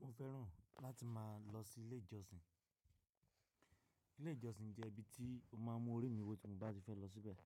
Mo fẹ́ràn láti máa lọ sí ilé ìjọsìn. Ilé ìjọsìn jẹ́ ibi tí ó máa ń mú orí mi wu tí n bá ti fẹ́ lọ síbẹ̀.